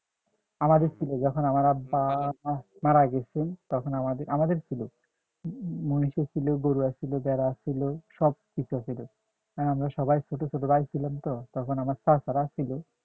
আমাদের ছিল যখন আমার আব্বা মারা গেছে তখন আমাদের আমাদের ছিল মহিষা আছিলো গরু আছিলো ভেড়া আছিলো সব কিছু আছিলো আমরা সবাই ছোট ছোট ভাই ছিলাম তো তখন আমার চাচারা ছিলো